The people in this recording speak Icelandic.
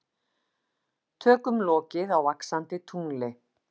Tökum lokið á Vaxandi tungli